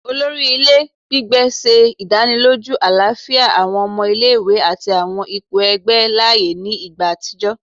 Olori ile gbigbe ṣe idaniloju alafia awọn ọmọ ile-iwe ati awọn ipo igbe laaye ni igba atijọ